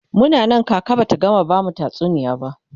Muna Nan kaka Bata gama bamu tatsuniya ba